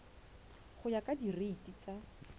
go ya ka direiti tsa